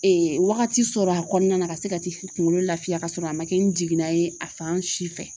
wagati sɔrɔ a kɔnɔna na ka se ka t'i kunkolo laafiya ka sɔrɔ a man kɛ ni jiginna ye a fan si fɛ.